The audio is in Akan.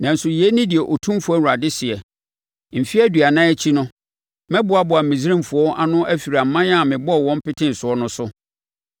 “ ‘Nanso yei ne deɛ Otumfoɔ Awurade seɛ: Mfeɛ aduanan akyi no, mɛboaboa Misraimfoɔ ano afiri aman a mebɔɔ wɔn petee soɔ no so.